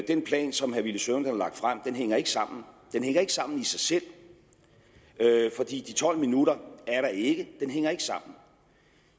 den plan som herre villy søvndal har lagt frem hænger ikke sammen den hænger ikke sammen i sig selv for de tolv minutter er der ikke den hænger ikke sammen